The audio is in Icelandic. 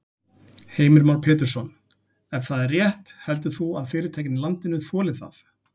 Heimir Már Pétursson: Ef það er rétt heldur þú að fyrirtækin í landinu þoli það?